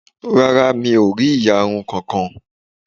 Rárá, mi ò rí ìyarun kankan